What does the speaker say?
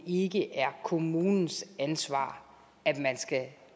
ikke er kommunens ansvar at man skal